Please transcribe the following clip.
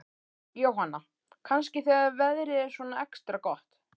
Jóhanna: Kannski þegar veðrið er svona extra gott?